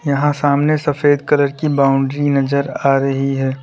यहां सामने सफेद कलर की बाउंड्री नजर आ रही है।